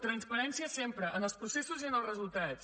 transparència sempre en els processos i en els resultats